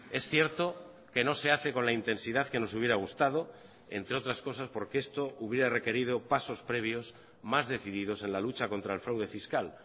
es cierto que no se hace con la intensidad que nos hubiera gustado entre otras cosas porque esto hubiera requerido pasos previos más decididos en la lucha contra el fraude fiscal